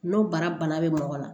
N'o bara bana bɛ mɔgɔ la